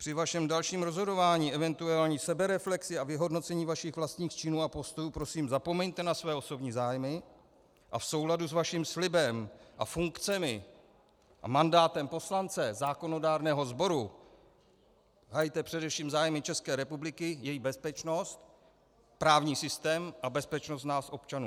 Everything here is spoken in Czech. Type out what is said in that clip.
Při vašem dalším rozhodování, eventuální sebereflexi a vyhodnocení vašich vlastních činů a postojů prosím zapomeňte na své osobní zájmy a v souladu s vaším slibem a funkcemi a mandátem poslance zákonodárného sboru hajte především zájmy České republiky, její bezpečnost, právní systém a bezpečnost nás občanů.